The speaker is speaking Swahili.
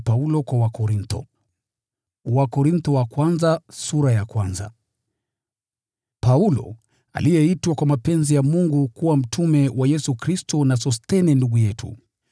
Paulo, niliyeitwa kwa mapenzi ya Mungu kuwa mtume wa Kristo Yesu, na Sosthene ndugu yetu.